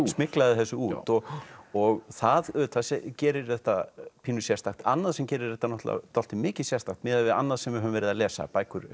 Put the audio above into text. smyglaði þessu út og og það auðvitað gerir þetta pínu sérstakt annað sem gerir þetta dálítið mikið sérstakt miðað við annað sem við höfum verið að lesa